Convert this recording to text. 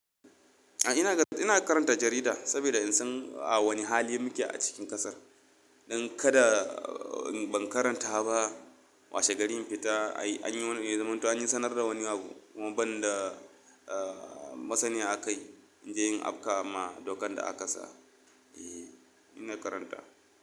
Ina karanta jarida saboda in san a wane hali muke a cikin ƙasar. Dan kada ban karanta ba, washe gari in fita an yi wani-- ya zamanto an yi sanar da wani abu kuma ban da masaniya akai in je in afka ma dokan da aka sa. Eh ina karanta.